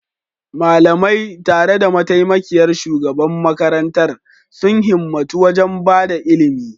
Malamai, tare da mataimakiyar shugaban makarantar, sun himmatu wajen ba da ilimi